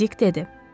Dik dedi.